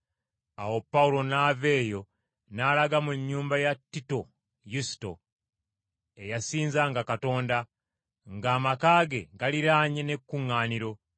Awo Pawulo n’ava eyo n’alaga mu nnyumba ya Tito Yusito, eyasinzanga Katonda, ng’amaka ge galiraanye n’ekkuŋŋaaniro.